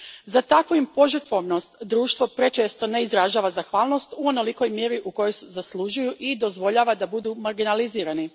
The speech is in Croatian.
Za takvu im požrtvovnost društvo prečesto ne izražava zahvalnost u onolikoj mjeri u kojoj zaslužuju i dozvoljava da budu marginalizirani.